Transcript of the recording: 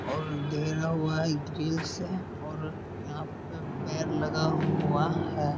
और हुआ है घृल से और यहां पे पेर लगा हुआ है।